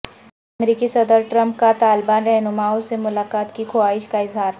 امریکی صدر ٹرمپ کا طالبان رہنمائو سے ملاقات کی خواہش کا اظہار